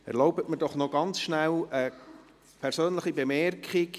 Erlauben Sie mir doch ganz kurz eine persönliche Bemerkung.